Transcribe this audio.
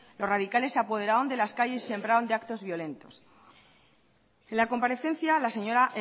los radicales se apoderaron de las calles y sembraron de actos violentos en la comparecencia la señora